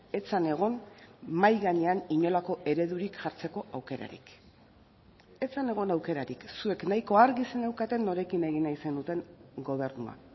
ez zen egon mahai gainean inolako eredurik jartzeko aukerarik ez zen egon aukerarik zuek nahiko argi zeneukaten norekin egin nahi zenuten gobernua